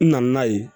N nana n'a ye